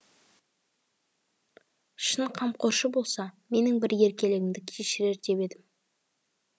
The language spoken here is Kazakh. шын қамқоршы болса менің бір еркелігімді кешірер деп едім